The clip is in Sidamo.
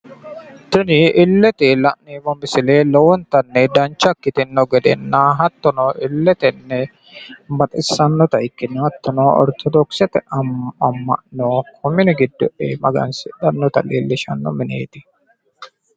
Tini la'neemmoti biifino misile orthodokkisete ama'no gamba yite magansidhano baseeti.